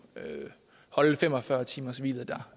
holde fem og fyrre timershvilet der